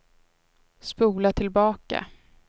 spola tillbaka